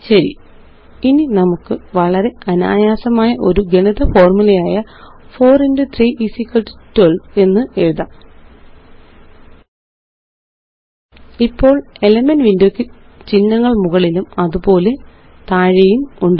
ശരി ഇനി നമുക്ക് വളരെ അനായാസമായ ഒരു ഗുണിത ഫോര്മുലയായ 4x312 എന്നതെഴുതാം ഇപ്പോള്Elements വിൻഡോ യ്ക്ക് ചിഹ്നങ്ങള് മുകളിലും അതുപോലെ താഴെയും ഉണ്ട്